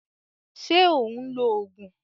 Ṣé ò ń lo Ògùn?